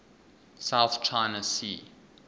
south china sea